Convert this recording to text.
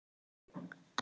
Þinn sonur, Sindri.